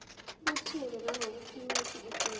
buthule nangokuphimisa efundela